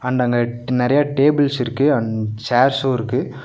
And அங்க நெறையா tables இருக்கு அண்ட் சேர்சு இருக்கு.